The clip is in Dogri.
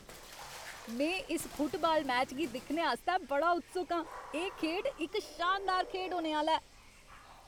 में इस फुटबाल मैच गी दिक्खने आस्तै बड़ा उत्सुक आं! एह् खेढ इक शानदार खेढ होने आह्ला ऐ।